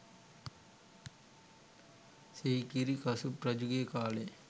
සිගිරි කසුබ් රජුගේ කාලයේ